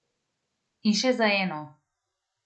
In še za eno.